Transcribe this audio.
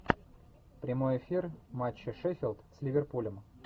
прямой эфир матча шеффилд с ливерпулем